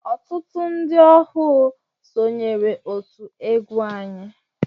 Ọtụtụ ndị ọhụụ sonyeere otú egwu anyị.